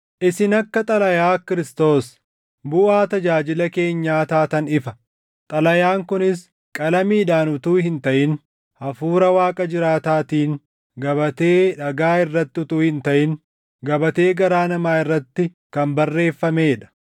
Isin akka xalayaa Kiristoos, buʼaa tajaajila keenyaa taatan ifa; xalayaan kunis qalamiidhaan utuu hin taʼin Hafuura Waaqa jiraataatiin, gabatee dhagaa irratti utuu hin taʼin gabatee garaa namaa irratti kan barreeffamee dha.